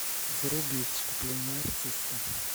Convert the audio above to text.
вруби вступление артиста